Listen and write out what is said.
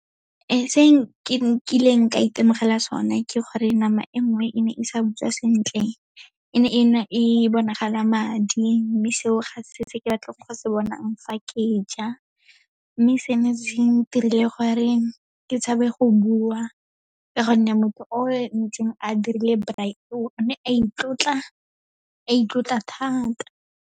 Se ke nkileng ka itemogela sone, ke gore nama e nngwe e ne e sa butswa sentle. E ne e bonagala madi, mme seo ga se se ke batlang go se bonang fa ke ja. Mme se ne se ntirile gore ke tshabe go bua, ka gonne motho o ntseng a dirile braai, o ne a itlotla, a itlotla thata.